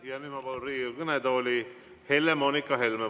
Ja nüüd ma palun Riigikogu kõnetooli Helle-Moonika Helme.